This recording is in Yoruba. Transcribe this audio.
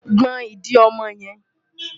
Gbọn ìdí ọmọ yẹn!